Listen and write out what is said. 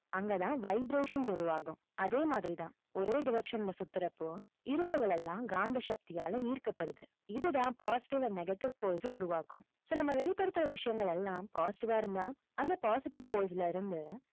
அங்கதான் vibrations உருவாகும். அதே மாதிரி தான் ஒரே direction ல சுத்துறப்போ, இரும்புகள் எல்லாம் காந்த சக்தியால ஈர்க்கப்படுது. இதுதான் positive and negative force அ உருவாக்கும் so நம்ம வெளிப்படுத்துற விஷயங்கள் எல்லாம் positive வா இருந்தா அந்த positive force ல இருந்து,